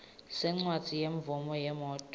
sencwadzi yemvumo yemoti